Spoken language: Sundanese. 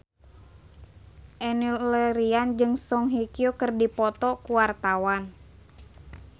Enno Lerian jeung Song Hye Kyo keur dipoto ku wartawan